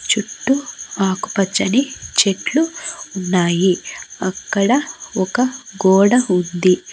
చుట్టూ ఆకుపచ్చని చెట్లు ఉన్నాయి అక్కడ ఒక గోడ ఉంది.